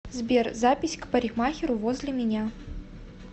сбер запись к парикмахеру возле меня